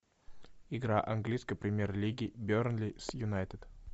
игра английской премьер лиги бернли с юнайтед